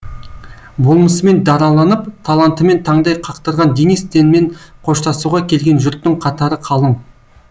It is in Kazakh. болмысымен дараланып талантымен таңдай қақтырған денис тенмен қоштасуға келген жұрттың қатары қалың